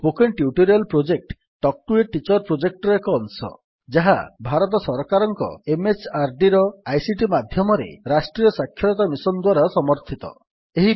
spoken tutorial project talk to a teacher ପ୍ରୋଜେକ୍ଟର ଏକ ଅଂଶ ଯାହା ଭାରତ ସରକାରଙ୍କ MHRDର ଆଇସିଟି ମାଧ୍ୟମରେ ରାଷ୍ଟ୍ରୀୟ ସାକ୍ଷରତା ମିଶନ୍ ଦ୍ୱାରା ସମର୍ଥିତ